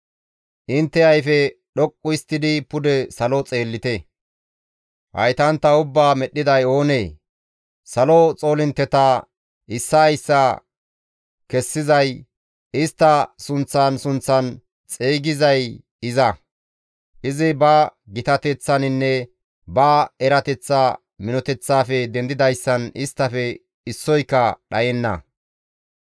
Intte ayfe dhoqqu histtidi pude salo xeellite; haytantta ubbaa medhdhiday oonee? Salo xoolintteta issaa issaa kessizay, istta sunththan sunththan xeygizay iza. Izi ba gitateththaninne ba erateththa minoteththaafe dendidayssan isttafe issoyka dhayenna.